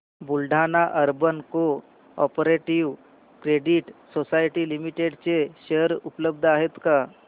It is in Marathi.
Buldhana urban cooperative credit society limited चे शेअर उपलब्ध आहेत का